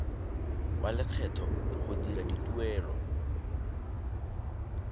wa lekgetho go dira dituelo